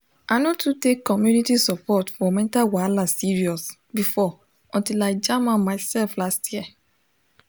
i no too take community support for mental wahala serious before until i jam am myself last year